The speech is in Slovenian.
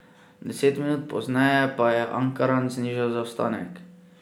Deset minut pozneje pa je Ankaran znižal zaostanek.